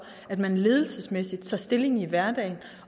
at man ledelsesmæssigt tager stilling i hverdagen